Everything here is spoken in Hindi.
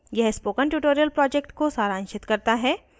यह spoken tutorial project को सारांशित करता है